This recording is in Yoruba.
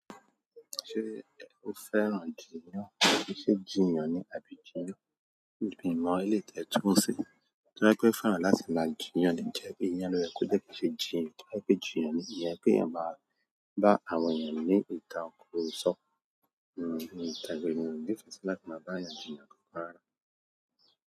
Ṣé o fẹ́ran jìnyàn? Ṣé jìnyàn ni àbí jìyan? Mi mọ elèyi tẹ́ túmọ̀ sí. Toba je pé fẹ́ran láti máa jìnyàn, "jẹ́ ìyan" ló yẹ kó jẹ́ ko ṣe jìnyàn. Toba je pé jìnyàn ni ìyẹn pé kèèyàn máa bá àwọn èèyàn ní ìtakurosọ. Mi kanle ní ìfẹ́ sí láti máa bá àwọn èèyàn jìnyàn kankan rárá.